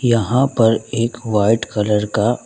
यहां पर एक वाइट कलर का --